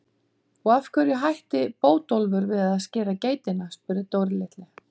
Og af hverju hætti Bótólfur við að skera geitina? spurði Dóri litli.